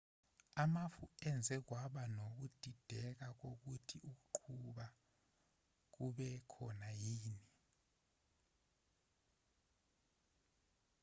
amafu enze kwaba nokudideka kokuthi ukuqubuka kube khona yini